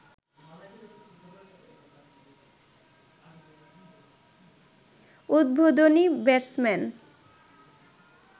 উদ্বোধনী ব্যাটসম্যান